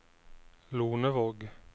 Lonevåg